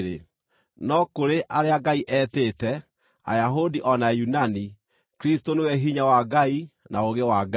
no kũrĩ arĩa Ngai etĩte, Ayahudi o na Ayunani, Kristũ nĩwe hinya wa Ngai na ũũgĩ wa Ngai.